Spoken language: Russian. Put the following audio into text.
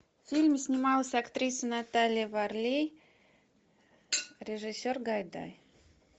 в фильме снималась актриса наталья варлей режиссер гайдай